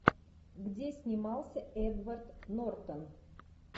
где снимался эдвард нортон